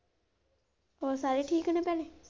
ਹੋਰ ਸਾਰੇ ਠੀਕ ਨੇ ਭੈਣੇ?